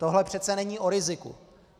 Tohle přece není o riziku.